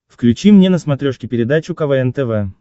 включи мне на смотрешке передачу квн тв